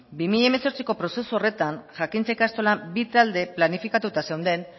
bi mila hemezortziko prozesu horretan jakintza ikastolan bi talde planifikatuta zeuden